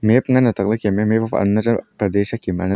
map ngan ang atak le Kem e kem.